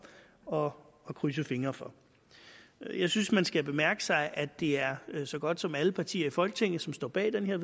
og krydse fingre for jeg synes man skal bemærke sig at det er så godt som alle partier i folketinget som står bag det her